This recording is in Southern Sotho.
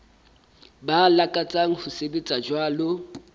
ba lakatsang ho sebetsa jwalo